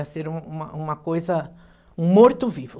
Ia ser uma uma coisa, um morto vivo.